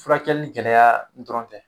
Furakɛli in gɛlɛya dɔrɔn tɛ